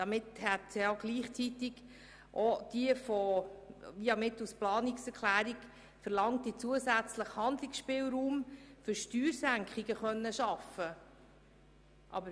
Damit hätte gleichzeitig auch der mittels Planungserklärung verlangte zusätzliche Handlungsspielraum für Steuersenkungen geschaffen werden können.